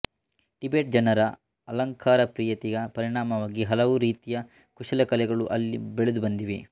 Tibet ಜನರ ಅಲಂಕಾರಪ್ರಿಯತೆಯ ಪರಿಣಾಮವಾಗಿ ಹಲವು ರೀತಿಯ ಕುಶಲಕಲೆಗಳು ಅಲ್ಲಿ ಬೆಳೆದುಬಂದಿವೆ